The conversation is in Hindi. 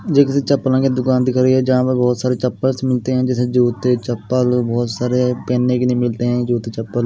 मुझे किसी चप्पलों की दुकान दिख रही है जहां पे बहुत सारे चप्पल्स मिलते हैं जैसे जूते चप्पल बहुत सारे पहनने के लिए मिलते हैं जूते चप्पल।